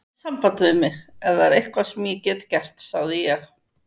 Hafðu samband við mig, ef það er eitthvað sem ég get gert sagði ég.